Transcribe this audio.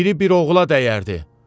Biri bir oğula dəyərdi.